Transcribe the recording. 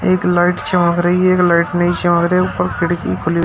एक लाइट चमक रही एक लाइट नहीं चमक रही ऊपर खिड़की खुली--